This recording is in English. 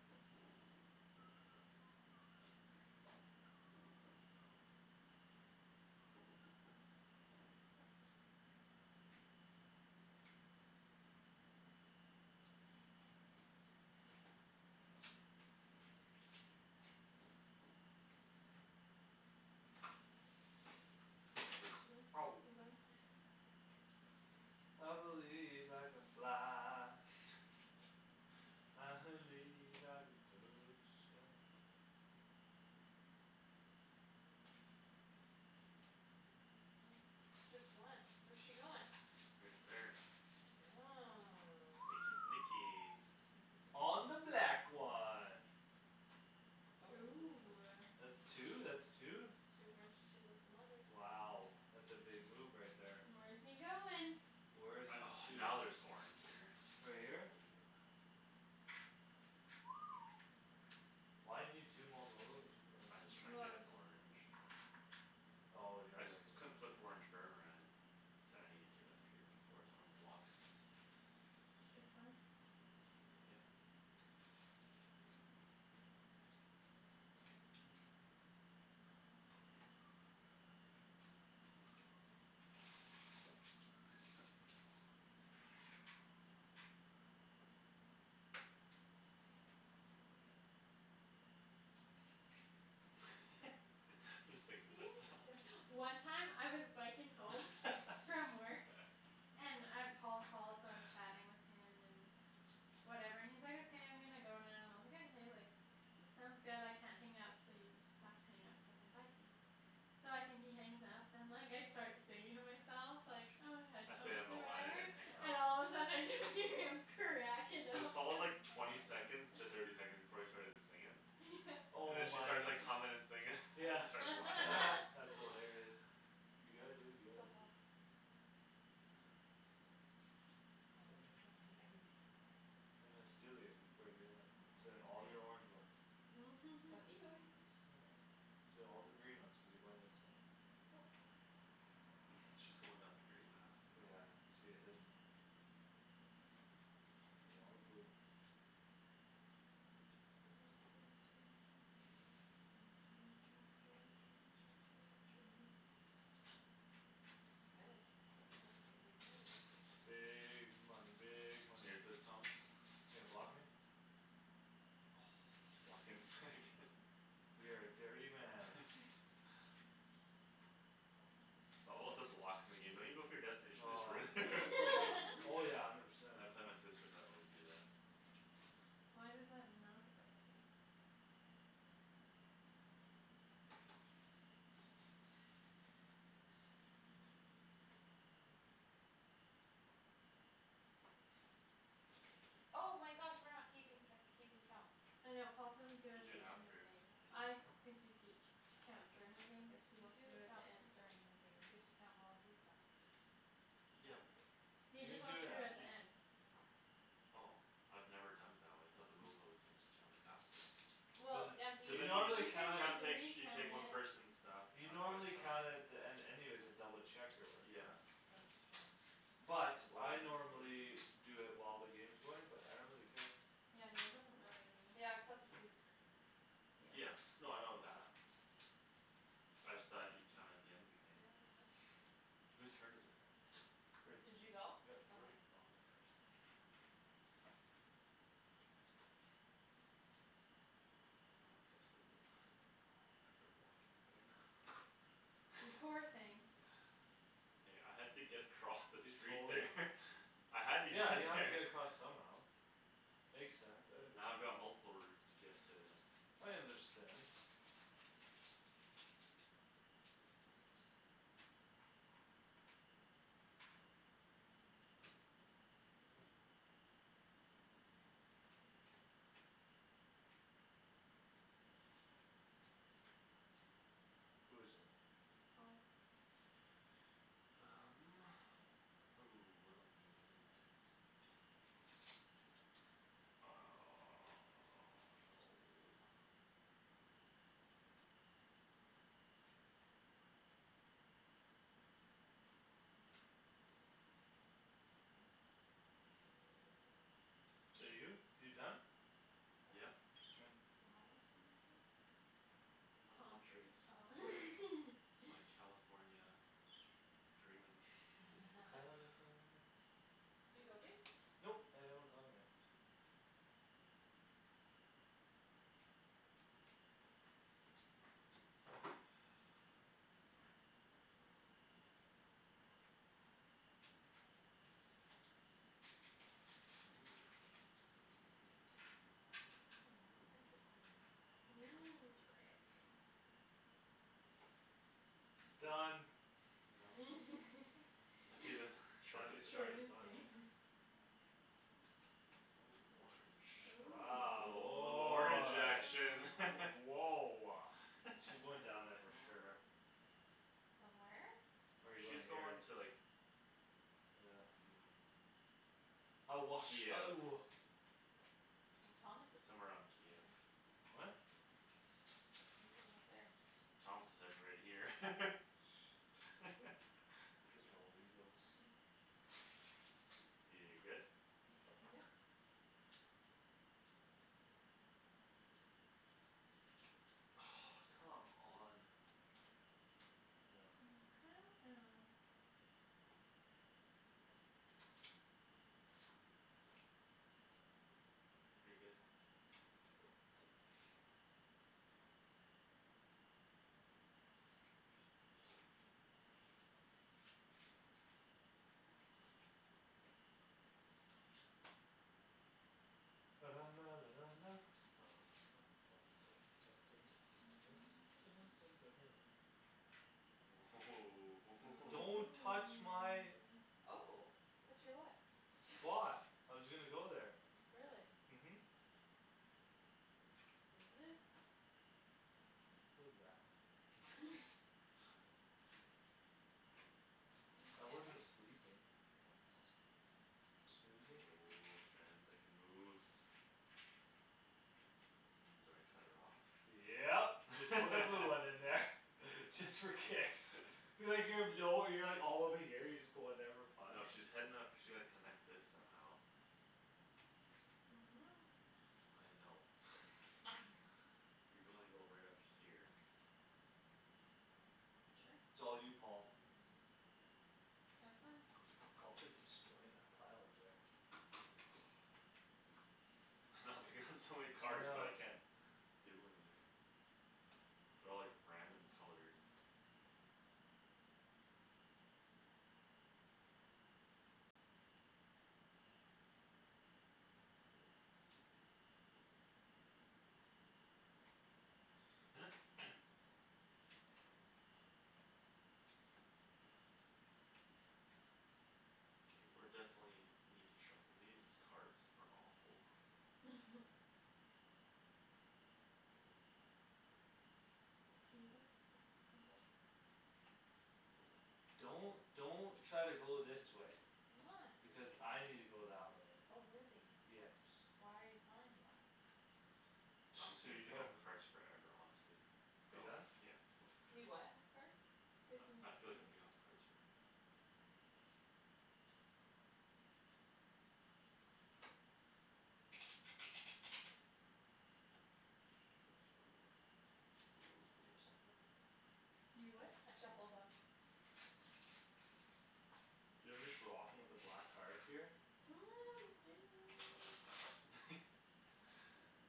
Did you go? Ow. No, You I going? haven't gone yet. I believe I can fly. I believe I can touch the sky. Okay. Oh, just one? Where's she goin'? Right there. Oh. Sneaky, sneaky. Sneaky, very On the black one. Ooh, Oh. ah. That two, that's two. Two orange, two locomotives. Wow. That's a big move right there. Where's he goin'? Where's I, in oh, two? now there's orange there. Right here? I believe it. Why you need two mocolotives or I just tryin' to Well, get just orange. Oh, yeah, I just right. couldn't flip orange So I need to get up here before someone blocks me. It's a good plan. Yeah. Just You singing to myself. sill- One time I was biking home from work and uh Paul called, so I was chatting with him and whatever and he's like, "okay I'm gonna go now" and I was like, "Okay, sounds good I can't hang up so you just have to hang up because I'm biking." So I think he hangs up and like I start singing to myself like, ah, I stayed on headphones the or line I whatever didn't hang up. And all of a sudden I just hear him cracking up there's all like cuz twenty second to thirty seconds before I started singin' Yeah. And Oh then she my. starts like hummin' and singin' and Yeah I start laughing. that's hilarious. You gotta do what you Go gotta do. Paul. Um. Now I don't I need to get cards. I'm gonna steal yours before you get them. I'm stealing all These your orange ones? ones. Don't need orange. Oh, yeah. Steal all the green ones cuz you're going this way. Yup. She's going down the grey path Yeah, somewhere. she is. Mhm. all the blue ones. My goodness, he's playing some big moves. Big money, big money. Thomas You gonna block me? Blockin' where I can. You're a dirty man. It's all about the blocks. In the game don't you go for your destination, just Oh. ruin it. Oh, yeah, I never said. When I play my sisters I always do that. Why does that not surprise me? Oh my gosh. We're not keeping co- keeping count. I know Paul said we could do You it do the it end of after the game. the game. I think you ke- Count during the game but he You wants to do do it at count the end. during the game cuz you have to count all of these up. Yeah. Like right He You can just do wants to it do it You at the af- just end. Okay. Oh. I've never done it that way. I thought the rules always said just count it after. There's Well Yeah, a you Cuz you then You can you I'm like just gonna count recount it at She take one it person's stuff. You Chunk know, I'm by gonna count chunk. it at the end anyways to double check your work Yeah. right That's true. But Why I is- What are you normally doing? Do it while the game's going but I don't really care. Yeah, no, it doesn't matter to Yeah, me. cuz that's what these Yeah. Yeah, Yeah. no, I know that. Oh. I just thought you'd count it at the end of the game. Yeah, we could. Who's turn is it? Did you go? Yep. Where'd okay. oh my cards are here I'm in desperate need of cards now. After blocking Megan. You poor thing. Hey, I had to get across the You street totally there. I had to get Yeah, to you have to there get across somehow. Makes sense, I Now I've understand. got multiple routes to get to I understand. Who is it? Paul. Um, ooh, what do I need? I need Two top no Is that you? You done? Is Yeah. that- You have flowers on your face? It's my Palm palm trees. Oh. trees. It's my California dreamin' California Did you go babe? Nope, I haven't gone yet. Okay. Mm. Mm, interesting. Interesting. Interesting. Done. That'd be the Shady's Shortest Shortest destina- shortest one, eh game. ah. Ooh, orange, ooh, a Wow, little a little orange woah action Ooh. Woah. All She's going down there for sure. right. Done where? No, Or you going she's here? going to like Yeah. Mm. I wash, Kiev. oh Well, Thomas is Somewhere on Kiev. What? You're going up there. Thomas is heading right here. Shh don't Cuz y'all weasels You good? Yep. Oh, come on. Oh. Oh. Oh, come on. You're good to go Don't Ooh touch my hoo Oh, touch your what? Spot. I was gonna go there. Really? Mhm. Snooze you lose. What does that mean? I wasn't sleeping. Snoozing. Woah, Shand's making moves. Um, do I cut her off? Yep, just put a blue one in there. Just for kicks. All over here. You just put one there for fun. No, she's heading up she like connect this somehow I don't know. I know. I don't. I know. You gonna go right up here. Sure. it's all you Paul. Have fun. Paul's like destroying that pile over there. I know I'm picking up so many I cards but know. I can't do anything. They're all like random colored. Okay, we're definitely need to shuffle. These cards are awful. You go. Mhm. Don't don't try to go this way. I'm not. Because I need to go that way. Oh, really? Yes. Why are you telling me that? I'm Just just so gonna you pick know. up cards forever honestly. You done? Yeah. You what have cards? Picking I I up feel like I'm cards. picking up cards forever. Shoot. I already shuffled them. You what? I shuffled them. Do you know, I'm just rocking with the black cards here.